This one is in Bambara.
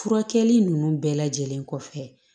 Furakɛli ninnu bɛɛ lajɛlen kɔfɛ